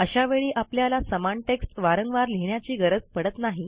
अशा वेळी आपल्याला समान टेक्स्ट वारंवार लिहिण्याची गरज पडत नाही